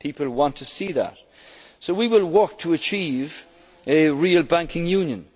at are delivered on. People want to see that. We will work to achieve